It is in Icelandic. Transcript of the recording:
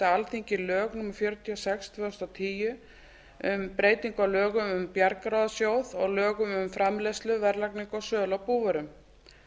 alþingi lög númer fjörutíu og sex tvö þúsund og tíu um breytingu á lögum um bjargráðasjóð og lögum um framleiðslu verðlagningu og sölu á búvörum